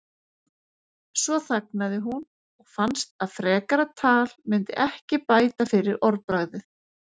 Svo þagnaði hún og fannst að frekara tal myndi ekki bæta fyrir orðbragðið.